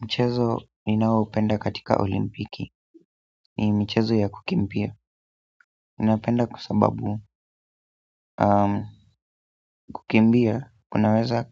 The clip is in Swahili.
Mchezo ninaoupenda katika olimpiki ni michezo ya kukimbia ninapenda kwa sababu kukimbia, kunaweza